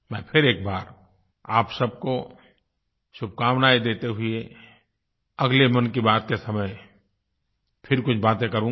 मैं फिर एक बार आप सब को शुभकामनायें देते हुए अगले मन की बात के समय फिर कुछ बातें करूँगा